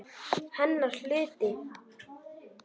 Hennar hluti.